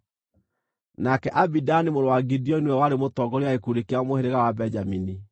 nake Abidani mũrũ wa Gideoni nĩwe warĩ mũtongoria wa gĩkundi kĩa mũhĩrĩga wa Benjamini.